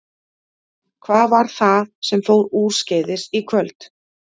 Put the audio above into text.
Hvað var það sem fór úrskeiðis í kvöld?